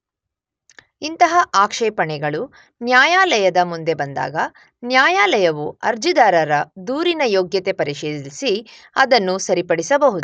ಇಂತಹ ಆಕ್ಷೇಪಣೆಗಳು ನ್ಯಾಯಾಲಯದ ಮುಂದೆ ಬಂದಾಗ ನ್ಯಾಯಾಲಯವು ಅರ್ಜಿದಾರರ ದೂರಿನ ಯೋಗ್ಯತೆ ಪರಿಶೀಲಿಸಿ ಅದನ್ನು ಸರಿಪಡಿಸಬಹುದು.